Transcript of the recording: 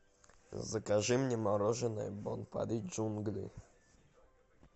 закажи мне мороженое бон пари джунгли